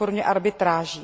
ve formě arbitráží.